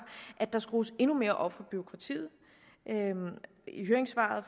at der skrues endnu mere op for bureaukratiet i høringssvaret